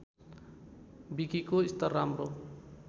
विकिको स्तर राम्रो